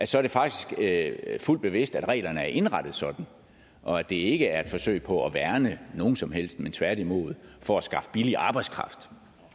så faktisk er fuldt bevidst at reglerne er indrettet sådan og at det ikke er et forsøg på at værne nogen som helst men tværtimod for at skaffe billig arbejdskraft